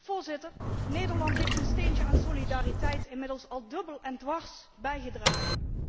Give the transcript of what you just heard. Voorzitter, Nederland heeft zijn steentje aan solidariteit inmiddels al dubbel en dwars bijgedragen.